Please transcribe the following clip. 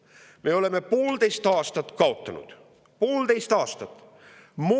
Me oleme poolteist aastat kaotanud, poolteist aastat!